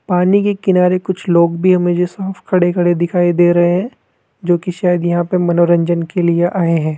पानी के किनारे कुछ लोग भी मुझे साफ खड़े खड़े दिखाई दे रहे है जोकि शायद यहां पे मनोरंजन के लिए आए है।